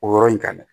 O yɔrɔ in kan dɛ